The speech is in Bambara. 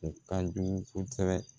U ka jugu kosɛbɛ